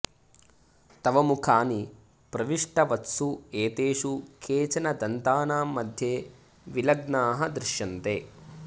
तव मुखानि प्रविष्टवत्सु एतेषु केचन दन्तानां मध्ये विलग्नाः दृश्यन्ते